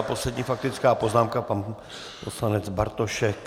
A poslední faktická poznámka - pan poslanec Bartošek.